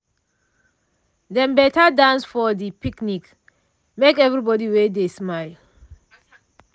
dem better dance for de picnic make everybody wey dey smile.